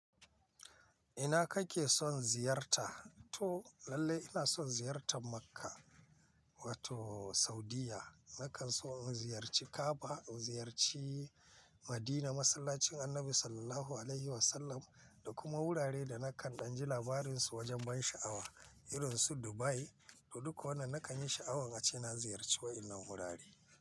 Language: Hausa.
Ina kake son ziyarta? To lallai ina son ziyartan Makka wato Saudiyya. Nakan so in ziyarci Ka'aba, in ziyarci Madina, masallacin Annabi Sallallahu Alaihi Wasallam da kuma wurare da nakan danji labarinsu wajen ban sha'awa irinsu Dubai. To dukka wannan nakan yi sha'awan ace na ziyarce wa'ina wurare.